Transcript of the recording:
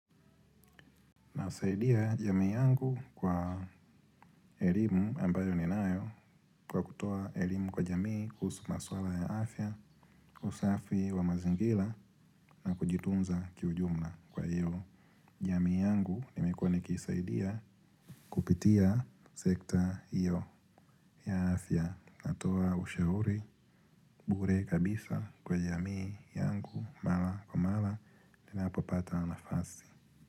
Nasaidia jamii yangu kwa elimu ambayo ninayo kwa kutoa elimu kwa jamii kuhusu masuala ya afya, usafi wa mazingira na kujitunza kiujumla kwa hiyo jamii yangu nimekuwa nikiisaidia kupitia sekta hiyo ya afya natoa ushauri, bure kabisa kwa jamii yangu mara kwa mara ninapopata nafasi.